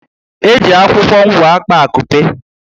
Eji akwụkwọ ngwo akpa akupe